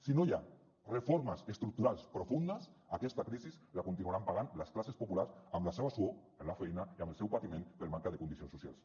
si no hi ha reformes estructurals profundes aquesta crisi la continuaran pagant les classes populars amb la seva suor amb la feina i amb el seu patiment per manca de condicions socials